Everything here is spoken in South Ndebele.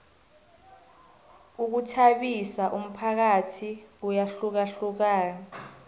ukhuthabisa umphakathi kuyahlukahlukana